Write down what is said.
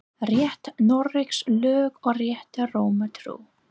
Rétt Noregs lög og rétta Rómar trú